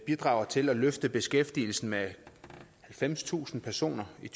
bidrager til at løfte beskæftigelsen med halvfemstusind personer i